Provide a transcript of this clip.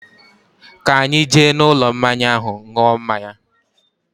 Ka anyi jee n'ulo mmanya ahu nuo mmanya